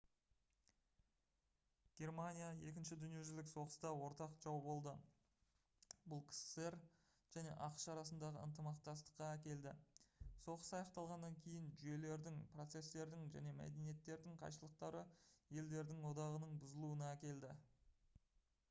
германия 2-ші дүниежүзілік соғыста ортақ жау болды бұл ксср және ақш арасындағы ынтымақтастыққа әкелді соғыс аяқталғаннан кейін жүйелердің процестердің және мәдениеттердің қайшылықтары елдердің одағының бұзылуына әкелді